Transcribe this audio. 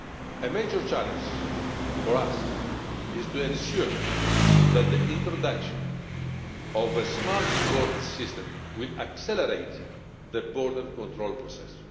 A major challenge for us is to ensure that the introduction of a smart borders system will accelerate the border control process.